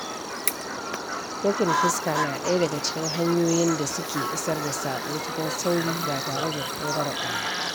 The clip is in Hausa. Sakin fuska na ɗaya daga cikin hanyoyin da su ke isar da saƙo cikin sauri ba tare da tangarɗa ba.